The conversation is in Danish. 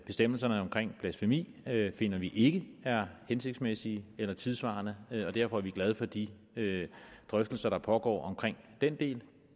bestemmelserne om blasfemi finder vi ikke er hensigtsmæssige eller tidssvarende og derfor er vi glade for de drøftelser der pågår om den del